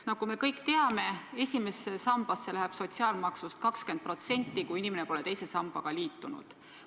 Nagu me kõik teame, esimesse sambasse läheb sotsiaalmaksust 20%, kui inimene pole teise sambaga liitunud.